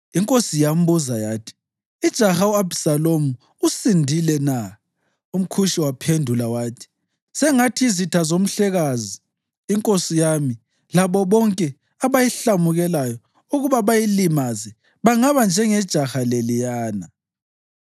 Inkosi yambuza yathi, “Ijaha u-Abhisalomu usindile na?” UmKhushi waphendula wathi, “Sengathi izitha zomhlekazi inkosi yami labo bonke abayihlamukelayo ukuba bayilimaze bangaba njengejaha leliyana.”